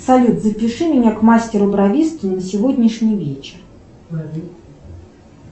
салют запиши меня к мастеру бровисту на сегодняшний вечер